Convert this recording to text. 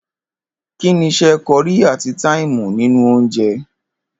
Kí ni is̩é̩ ko̩rí àti táìmù nínú oúnje?